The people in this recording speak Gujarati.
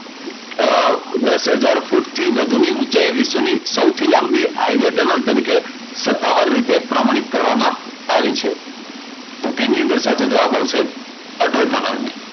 દશ હજાર ફૂટ થી વધુ ઊંચાઈની વિશ્વની સૌથી લાંબી હાઇવે ટનલ તરીકે સત્તાવાર રીતે પ્રમાણિત કરવામાં આવી છે? તો તેની અંદર સાચો જવાબ આવશે અટલ ટનલ ને.